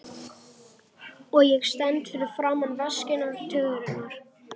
Og ég stend fyrir framan veskin og tuðrurnar.